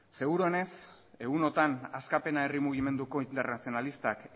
seguruenez egun hauetan askapena herri mugimendu internazionalistak